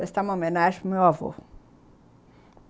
Prestar uma homenagem para meu avô.